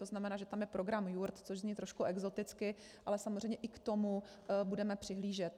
To znamená, že tam je program jurt, což zní trošku exoticky, ale samozřejmě i k tomu budeme přihlížet.